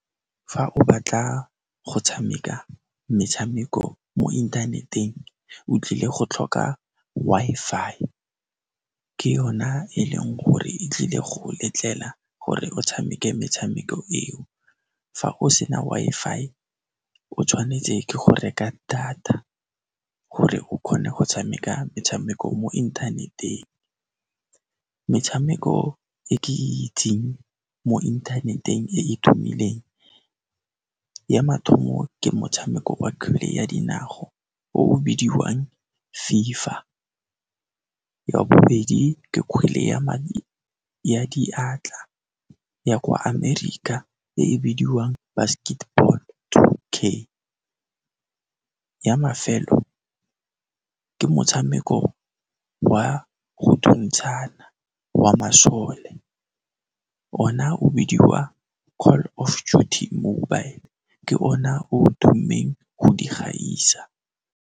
Fa o batla go tshameka metshameko mo inthaneteng, o tlile go tlhoka Wi-Fi, ke yona e leng gore e tlile go letlela gore o tshameke metshameko eo. Fa o sena Wi-Fi, o tshwanetse ke go reka data gore o kgone go tshameka metshameko mo inthaneteng. Metshameko e ke e itseng mo inthaneteng e e tumileng, ya mathomo ke motshameko wa kgwele ya dinao o o bidiwang Fever. Ya bobedi ke kgwele ya diatla, ya kwa Ameria e e bidiwang Basketball Two K, ya mafelo ke motshameko wa go thuntshana wa masole, ona o bidiwa Call of Duty Mobile, ke ona o o tummeng go di gaisa.